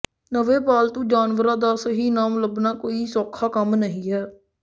ਨਵੇਂ ਪਾਲਤੂ ਜਾਨਵਰ ਦਾ ਸਹੀ ਨਾਮ ਲੱਭਣਾ ਕੋਈ ਸੌਖਾ ਕੰਮ ਨਹੀਂ ਹੈ